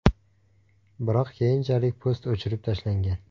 Biroq keyinchalik post o‘chirib tashlangan.